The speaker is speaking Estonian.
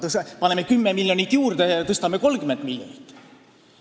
Paneme 10 miljonit juurde ja tõstame 30 miljonit!